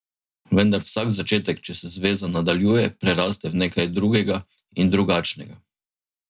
Vendar vsak začetek, če se zveza nadaljuje, preraste v nekaj drugega in drugačnega.